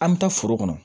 An bɛ taa foro kɔnɔ